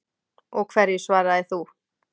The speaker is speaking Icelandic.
Og hverju svaraðir þú?